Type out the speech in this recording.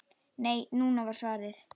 Nei, núna! var svarið.